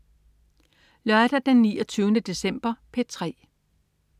Lørdag den 29. december - P3: